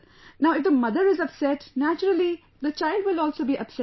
Now if the mother is upset, naturally the child will also be upset